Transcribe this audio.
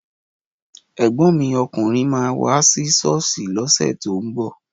Ẹ̀gbọ́n mi ọkùnrin máa wá sí ṣọ́ọ̀ṣì lọ́sẹ̀ tó ń bọ̀